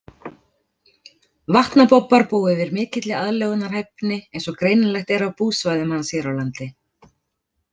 Vatnabobbar búa yfir mikilli aðlögunarhæfni eins og greinilegt er af búsvæðum hans hér á landi.